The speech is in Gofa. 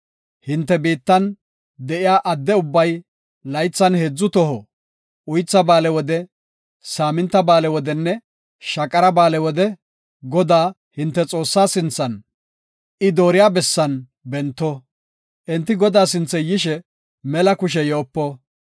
Hinte biittan de7iya adde ubbay laythan heedzu toho, Uytha Ba7aale wode, Saaminta Ba7aale wodenne Shaqara Ba7aale wode Godaa, hinte Xoossaa sinthan, I dooriya bessan bento. Enti Godaa sinthe yishe, mela kushe yoopo.